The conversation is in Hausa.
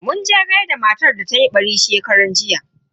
Muje gaishe da matar da tayi ɓari shekaran jiya.